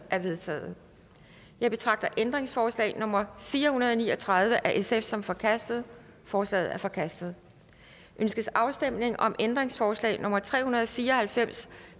er vedtaget jeg betragter ændringsforslag nummer fire hundrede og ni og tredive af sf som forkastet forslaget er forkastet ønskes afstemning om ændringsforslag nummer tre hundrede og fire og halvfems